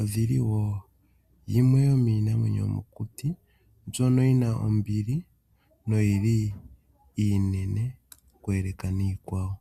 odhili woo yimwe yomiinamwenyo mbyono yi na ombili na oyi li iinene oku yeleka niikwawo.